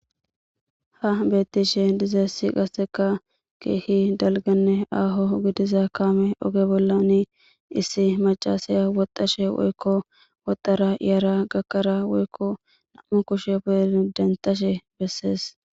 Ha betishe dizayis qaseka kehi daligane aho gidiza besan oge bollan issi macashey woxashe woxara yara gakada woyiko na'mu kushe intinetashe beses